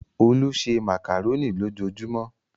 Olú se màkàrónì lójujúmọ́